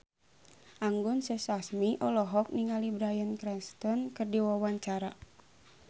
Anggun C. Sasmi olohok ningali Bryan Cranston keur diwawancara